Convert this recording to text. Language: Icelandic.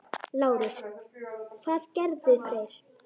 LÁRUS: Hvað gerðu þeir?